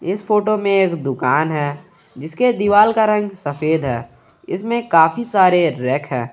इस फोटो में एक दुकान है जिसके दीवाल का रंग सफेद है इसमें काफी सारे रैक हैं।